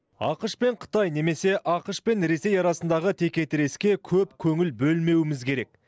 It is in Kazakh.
ақш пен қытай немесе ақш пен ресей арасындағы текетіреске көп көңіл бөлмеуіміз керек